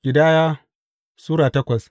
Ƙidaya Sura takwas